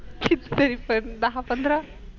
किती तरी पण दहा पंधरा?